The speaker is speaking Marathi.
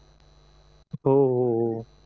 हो हो हो